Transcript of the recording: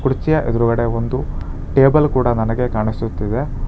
ಕುರ್ಚಿಯ ಎದುರ್ಗಡೆ ಒಂದು ಟೇಬಲ್ ಕೂಡ ನನಗೆ ಕಾಣಿಸುತ್ತಿದೆ.